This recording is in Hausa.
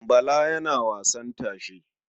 Bala yana wasan tashe.